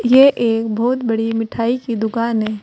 यह एक बहुत बड़ी मिठाई की दुकान है।